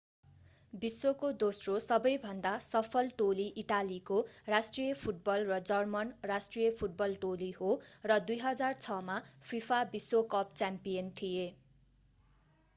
विश्वको दोस्रो सबैभन्दा सफल टोली इटालीको राष्ट्रिय फुटबल र जर्मन राष्ट्रिय फुटबल टोली हो र 2006 मा फिफा विश्व कप च्याम्पियन थिए